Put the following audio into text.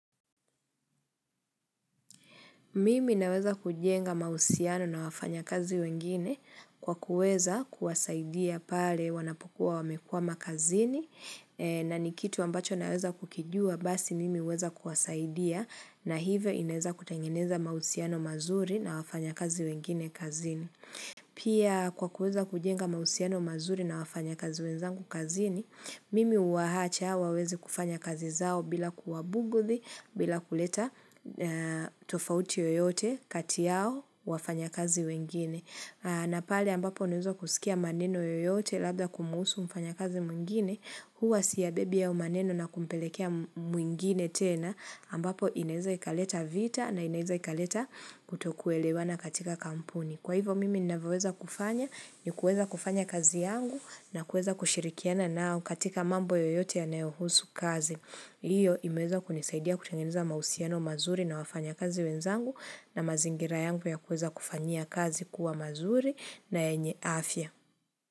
Mimi naweza kujenga mahusiano na wafanya kazi wengine kwa kuweza kuwasaidia pale wanapokuwa wamekwama kazini na nikitu ambacho naweza kukijua basi mimi huweza kuwasaidia na hivyo ineza kutangeneza mahusiano mazuri na wafanya kazi wengine kazini. Pia kwa kuweza kujenga mausiano mazuri na wafanya kazi wenzangu kazini, mimi uwahacha wawezi kufanya kazi zao bila kuwabuguthi, bila kuleta tofauti yoyote kati yao wafanya kazi wengine. Na pali ambapo unuza kusikia maneno yoyote labda kumhusu mfanya kazi mwingine, huwa siya bebi ya maneno na kumpelekea mwingine tena ambapo inaeza ikaleta vita na inaeza ikaleta kutokuelewana katika kampuni. Kwa hivo mimi ninaweweza kufanya ni kueza kufanya kazi yangu na kueza kushirikiana nao katika mambo yoyote yanaohusu kazi. Iyo imeweza kunisaidia kutengeneza mahusiano mazuri na wafanya kazi wenzangu na mazingira yangu ya kuweza kufanyia kazi kuwa mazuri na yenye afya.